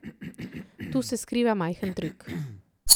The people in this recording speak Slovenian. Tu se skriva majhen trik.